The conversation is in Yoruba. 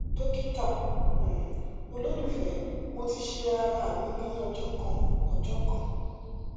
dokita um ololufẹ mo ti ṣe ara mi ni ọjọ kan ọjọ kan